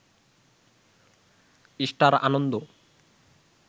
star Ananda